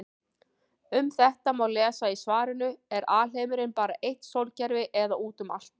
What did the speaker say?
Um þetta má lesa í svarinu Er alheimurinn bara eitt sólkerfi eða út um allt?